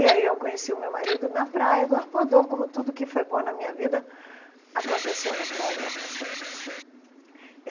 E aí eu conheci o meu marido na praia do Arpoador, como tudo que foi bom na minha vida aconteceu na praia do Arpoador.